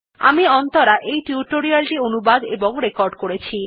আমি অন্তরা এই টিউটোরিয়াল টি অনুবাদ এবং রেকর্ড করেছি